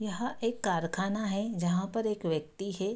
यहां एक कारखाना है जहाँ पर एक व्यक्ति है।